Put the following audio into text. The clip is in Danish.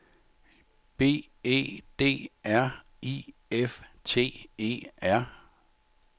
B E D R I F T E R